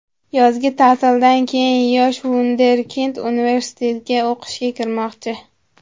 Yozgi ta’tildan keyin yosh vunderkind universitetga o‘qishga kirmoqchi.